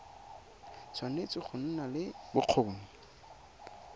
tshwanetse go nna le bokgoni